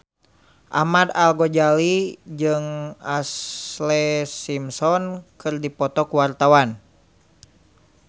Ahmad Al-Ghazali jeung Ashlee Simpson keur dipoto ku wartawan